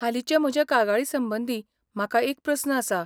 हालींचे म्हजे कागाळी संबंदी म्हाका एक प्रस्न आसा.